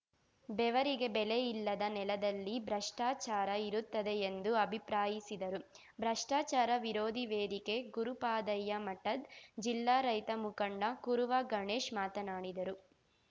ಬೆವರಿಗೆ ಬೆಲೆ ಇಲ್ಲದ ನೆಲದಲ್ಲಿ ಭ್ರಷ್ಟಾಚಾರ ಇರುತ್ತದೆ ಎಂದು ಅಭಿಪ್ರಾಯಿಸಿದರು ಭ್ರಷ್ಟಾಚಾರ ವಿರೋಧಿ ವೇದಿಕೆ ಗುರುಪಾದಯ್ಯಮಠದ್‌ ಜಿಲ್ಲಾ ರೈತ ಮುಖಂಡ ಕುರುವ ಗಣೇಶ್‌ ಮಾತನಾಡಿದರು